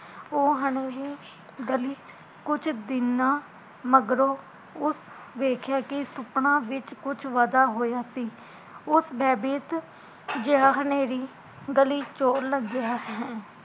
ਉਹ ਹਨੇਰੀ ਗਲੀ ਕੁਜ ਦਿਨਾ ਮਗਰੋਂ ਉਸ ਵੇਖਿਆ ਕੀ ਸੁਪਨਾ ਵਿੱਚ ਕੁਜ ਵਦਾ ਹੋਇਆ ਸੀ ਉਸ ਬੈਭੀਤ, ਜੇਹਾ ਹਨੇਰੀ ਗਲੀ ਚੋ ਲੰਘਿਆ